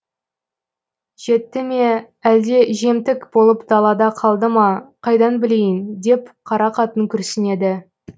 жетті ме әлде жемтік болып далада қалды ма қайдан білейін деп қара қатын күрсінеді